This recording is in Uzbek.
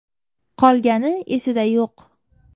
Qolgani esida yo‘q.